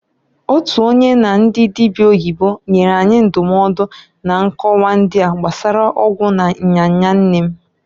Otu onye na ndị dịbịa oyibo nyere anyị ndụmọdụ na nkọwa ndịa gbasara ọgwụ na nya nya nne m.